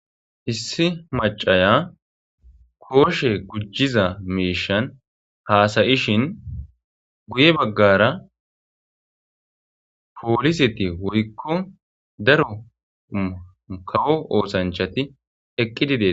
Issi macaya kooshe gujjiza miishan haasa7ishin guye baggara pooliseti woykko daro kawo oosanchati eqqidi de7eetees.